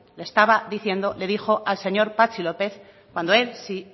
estaba diciendo le dijo al señor patxi lópez cuando él sí